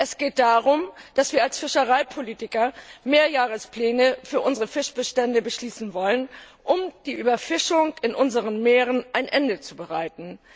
Es geht darum, dass wir als Fischereipolitiker Mehrjahrespläne für unsere Fischbestände beschließen wollen, um der Überfischung in unseren Meeren ein Ende zu bereiten.